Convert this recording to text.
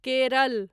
Kerala